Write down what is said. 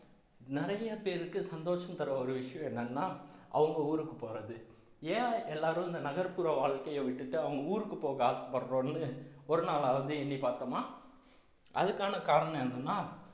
நிறைய பேருக்கு சந்தோஷம் தர்ற ஒரு விஷயம் என்னன்னா அவங்க ஊருக்கு போறது ஏன் எல்லாரும் இந்த நகர்ப்புற வாழ்க்கைய விட்டுட்டு அவங்க ஊருக்கு போக ஆசைப்படுறோம்ன்னு ஒரு நாளாவது எண்ணி பார்த்தோமா அதுக்கான காரணம் என்னன்னா